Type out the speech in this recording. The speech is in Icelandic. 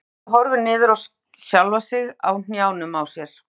Ræskir sig og horfir niður á sjálfa sig á hnjánum á sér.